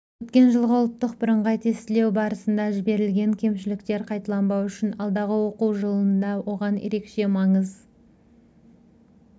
өткен жылғы ұлттық бірыңғай тестілеу барысында жіберілген кемшіліктер қайталанбау үшін алдағы оқу жылында оған ерекше маңыз